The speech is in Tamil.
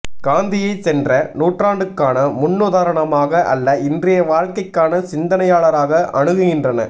காந்தியை சென்ற நூற்றாண்டுக்கான முன்னுதாரணமாக அல்ல இன்றைய வாழ்க்கைக்கான சிந்தனையாளராக அணுகுகின்றன